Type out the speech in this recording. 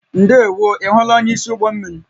Ndewo, ị hụla onyeisi ụgbọ mmiri?